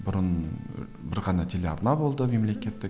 бұрын ы бір ғана телеарна болды мемлекеттік